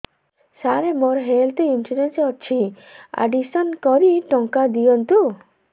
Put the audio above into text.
ସାର ମୋର health insurance ଅଛି admission କରି ଟଙ୍କା ଦିଅନ୍ତୁ